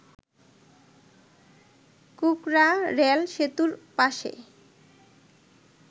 কুকড়া rail সেতুর পাশে